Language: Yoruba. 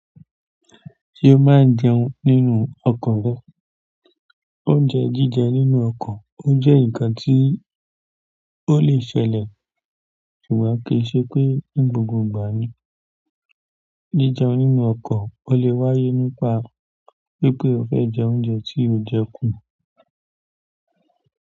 Ṣé o máa ń jẹun nínú ọkọ̀ rẹ? Oúnjẹ jíjẹ nínú ọkọ̀, ó jẹ́ ǹkan tí ó lè ṣẹlẹ̀, ṣùgbọ́n kì í ṣe pé ní gbogbo ìgbà ni. Jíjẹun nínú ọkọ̀ ó lè wáyé nípa wípé o fẹ́ jẹ oúnjẹ tí o jẹkù.